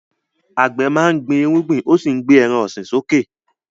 Àgbẹ̀ máa ń gbin irúgbìn ó sì ń gbé ẹran ọ̀sìn sókè.